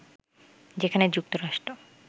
যেখানে যুক্তরাষ্ট্র